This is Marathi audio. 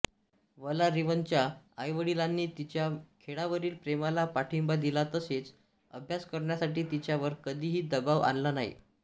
वलारीवनच्या आईवडिलांनी तिच्या खेळावरील प्रेमाला पाठिंबा दिला तसेच अभ्यास करण्यासाठी तिच्यावर कधीही दबाव आणला नाही